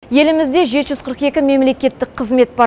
елімізде жеті жүз қырық екі мемлекеттік қызмет бар